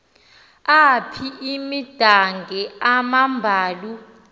apha imidange amambalu